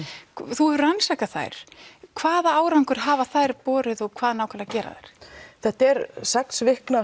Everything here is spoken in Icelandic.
þú hefur rannsakað þær hvaða árangur hafa þær borið og hvað nákvæmlega gera þær þetta er sex vikna